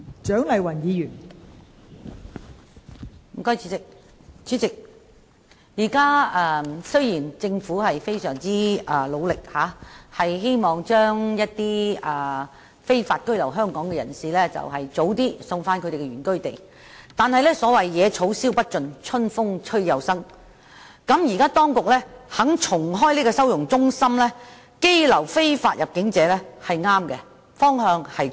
代理主席，雖然政府現時非常努力，希望盡早把在香港非法居留的人士遣返原居地，但有謂"野草燒不盡，春風吹又生"，當局現時願意重開收容中心羈留非法入境者，方向正確。